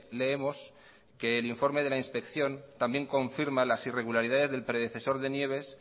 leemos que el informe de la inspección también confirma las irregularidades del predecesor de nieves